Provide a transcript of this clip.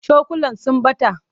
Cokulan sun ɓata.